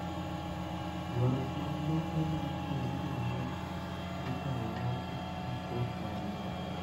Ywaruok mag lope ma iwe gi jonyuol inyal losi gi kot mag lope